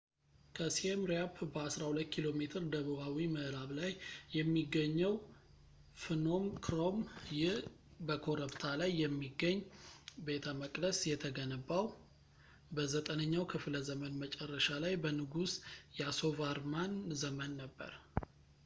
ከsiem reap በ12ኪሜ ደቡባዊ ምዕራብ ላይ የሚገኘው phnom krom። ይህ በኮረብታ ላይ የሚገኝ ቤተመቅደስ የተገነባው በ9ኛው ክፍለ ዘመን መጨረሻ ላይ በንጉስ yasovarman ዘመን ነበር